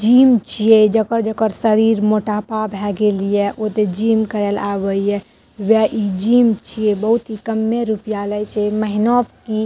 gym छीये जकर-जकर शरीर मोटापा भए गेल ये ओ ते जिम करे ले आवे ये वेह इ जिम छीये बहुत ही कम्मे रुपया ले छै महीना की --